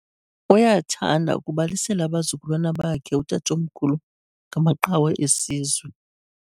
Uyathanda ukubalisela abazukulwana bakhe utatomkhulu ngamaqhawe esizwe.